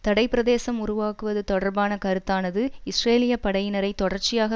தடைப்பிரதேசம் உருவாக்குவது தொடர்பான கருத்தானது இஸ்ரேலிய படையினரை தொடர்ச்சியாக